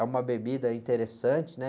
É uma bebida interessante, né?